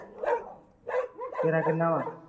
ਤੇਰਾ ਕਿੰਨਾ ਵਾ